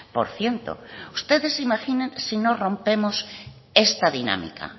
por ciento ustedes imaginen si no rompemos esta dinámica